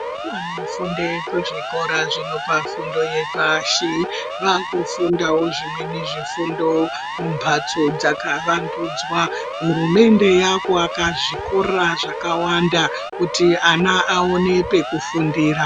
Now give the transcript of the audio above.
Vana vanofunde kuzvikora zvinopa fundo yepashi, vakufundavo zvimweni zvifundo mumbatso dzakavandudzwa. Hurumende yakuvaka zvikora zvakawanda kuti ana aone pekufundira.